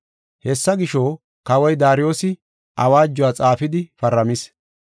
Hessa gisho, kawoy Daariyosi awaajuwa xaafidi paramis.